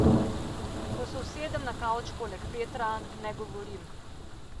Ko se usedem na kavč poleg Petra, ne govorim.